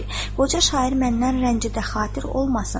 Qoca şair məndən rəncidə xatir olmasın.